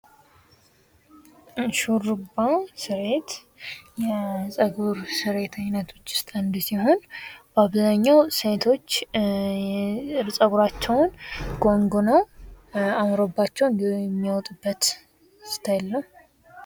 የሹርባ ስርየት የፀጉር ስርየት አይነቶች ውስጥ አንዱ ሲሆን በአብዛኛው ሴቶች ፀጉራቸውን ጎንጉነው አምሮባቸው የሚወጡበት ስታይል ነው ::